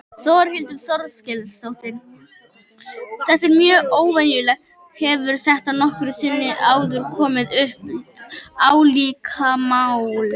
Þórhildur Þorkelsdóttir: Þetta er mjög óvenjulegt, hefur þetta nokkru sinni áður komið upp, álíka mál?